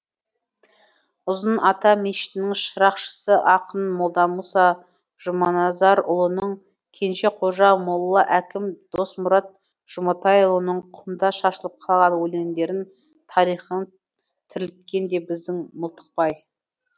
ұзын ата мешітінің шырақшысы ақын молдамұса жұманазарұлының кенжеқожа молла әкім досмұрат жұматайұлының құмда шашылып қалған өлеңдерін тарихын тірілткен де біздің мылтықбай